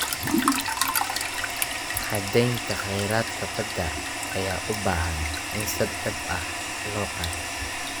Xadaynta kheyraadka badda ayaa u baahan in si dhab ah loo qaato.